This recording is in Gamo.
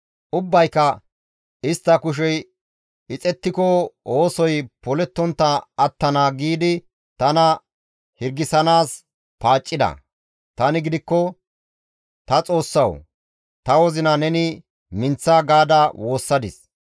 Ubbayka, «Istta kushey ixettiko oosoy polettontta attana» giidi tana hirgisanaas paaccida; tani gidikko, «Ta Xoossawu! Ta wozina neni minththa» gaada woossadis.